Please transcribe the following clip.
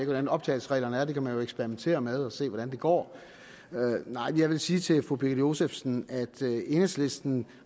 hvordan optagelsesreglerne er det kan man jo eksperimentere med og se hvordan det går nej jeg vil sige til fru birgitte josefsen at enhedslisten